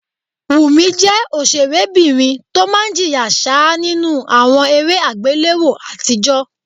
Wùmí jẹ́ ọ̀sẹ̀rébìnrin tó máa ń jìyà ṣáá nínú àwọn eré àgbéléwò àtijọ́